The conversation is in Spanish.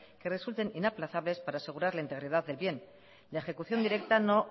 que resulten inaplazables para asegurar la integridad del bien la ejecución directa no